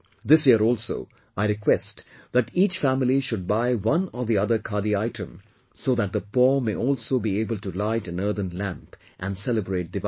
This year also I request that each family should buy one or the other khadi item so that the poor may also be able to light an earthen lamp and celebrate Diwali